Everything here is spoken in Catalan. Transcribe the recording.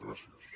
gràcies